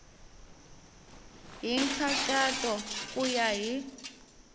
hi nkhaqato ku ya hi